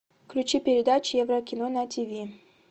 включи передачу еврокино на тв